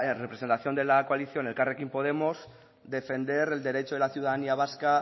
representación de la coalición elkarrekin podemos para defender el derecho de la ciudadanía vasca